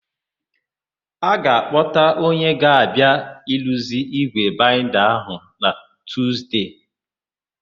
A ga-akpọta onye ga-abịa iruzi ígwè baịnda ahụ na Tuzde.